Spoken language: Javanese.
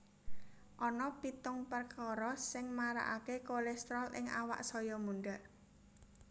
Ana pitung perkara sing marakaké kolésterol ing awak saya mundhak